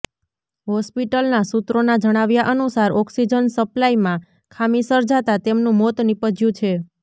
હોસ્પિટલના સૂત્રોના જણાવ્યા અનુસાર ઓક્સિજન સપ્લાયમાં ખામી સર્જાતા તેમનું મોત નિપજ્યું છે